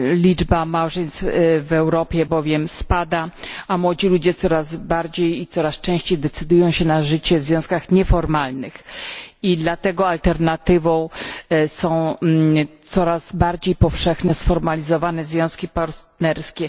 Liczba małżeństw w Europie bowiem spada, a młodzi ludzie coraz bardziej i coraz częściej decydują się na życie w związkach nieformalnych i dlatego alternatywą są coraz bardziej powszechnie sformalizowane związki partnerskie.